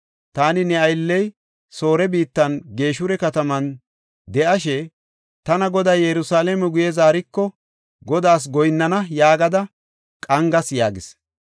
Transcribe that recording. Taani ne aylley Soore biittan Geshura kataman de7ashe, ‘Tana Goday Yerusalaame guye zaariko, Godaas goyinnana’ yaagada qangas” yaagis.